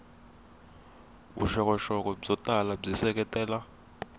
vuxokoxoko byo tala byi seketela